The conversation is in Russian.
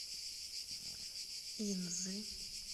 инзы